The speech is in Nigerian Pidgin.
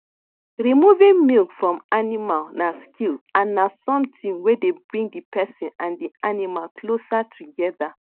removing milk from animal na skill and na something wey dey bring the person and the animal closer together